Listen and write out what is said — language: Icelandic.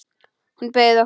Hún bauð okkur.